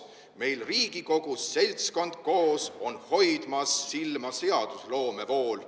Meil Riigikogus seltskond koos on hoidmas silma seadusloome pool.